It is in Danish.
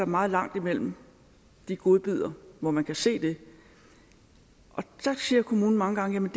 meget langt imellem de godbidder hvor man kan se det og der siger kommunen mange gange